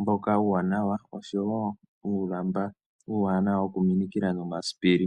mboka uuwanawa, oshowo uulamba wokuminikila nomasipili.